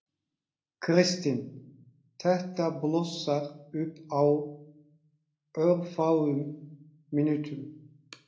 Kristinn: Þetta blossar upp á örfáum mínútum?